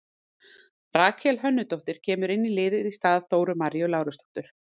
Rakel Hönnudóttir kemur inn í liðið í stað Dóru Maríu Lárusdóttur.